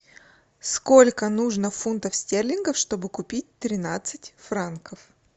сколько нужно фунтов стерлингов чтобы купить тринадцать франков